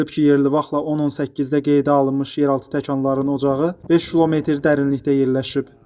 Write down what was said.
Bildirilib ki, yerli vaxtla 10:18-də qeydə alınmış yeraltı təkanların ocağı 5 km dərinlikdə yerləşib.